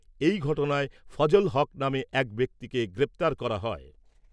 এই ঘটনায় ফজল হক নামে এক ব্যক্তিকে গ্রেপ্তার করা হয়।